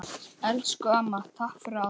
Elsku amma, takk fyrir allt!